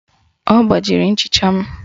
Ọ gbajiri nchịcha m